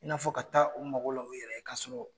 I n'a fɔ ka taa u mago la u yɛrɛ k'a sɔrɔ